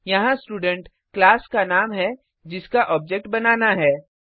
यहाँ student class का नाम है जिसका ऑब्जेक्ट बनाना है